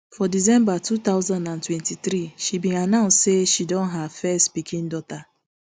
for december two thousand and twenty-three she bin announce say she don her first pikindaughter